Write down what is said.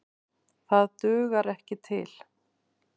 Það dugar ekki til.